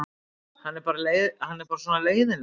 Hann er bara svona leiðinlegur.